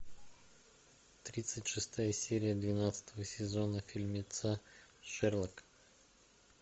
тридцать шестая серия двенадцатого сезона фильмеца шерлок